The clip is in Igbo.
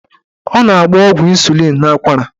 Ọ na-agba ọgwụ ịnsulịn n'akwara.